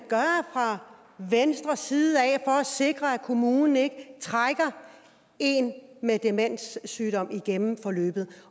fra venstres side for at sikre at kommunen ikke trækker en med en demenssygdom igennem forløbet